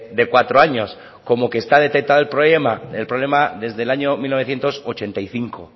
de cuatro años como que está detectado el problema el problema desde el año mil novecientos ochenta y cinco